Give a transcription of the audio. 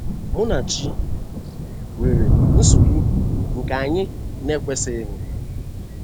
Munachi nwere nsogbu, nke anyị na-ekwesịghị ịhụ.